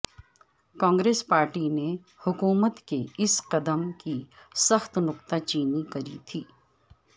Congress party نے حکومت کے اس قدم کی سخت نکتہ چینی کی تھی